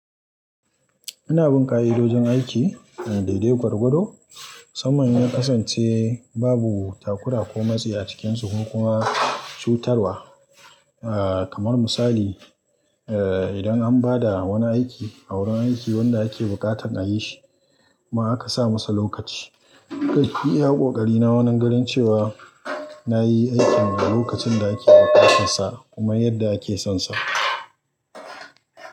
Ina bin ƙa'i dojin aiki, dai dai gwargwado musamman inya kasance babu takura ko matsi a cikin sukokuma cutarwa. Ah kamar misali, eh idan an ba da wani aiki a wurin aiki wanda ake buƙatan a yi shi kuma aka sa masa lokaci. Kai iya kokari na wannan ganin cewa na yi aikin a lokacin da ake buƙatar sa kuma yadda ake son sa.